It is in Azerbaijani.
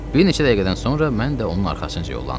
Bir neçə dəqiqədən sonra mən də onun arxasınca yollandım.